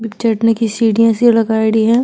चढ़ने की सीढिया सी लगाईडी है।